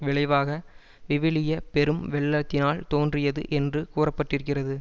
விளைவாக விவிலிய பெரும் வெள்ளத்தினால் தோன்றியது என்று கூற பட்டிருக்கிறது